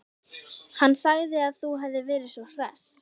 Hann sagði að þú hefðir verið svo hress.